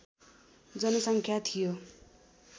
जनसङ्ख्या थियो